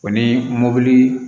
O ni mobili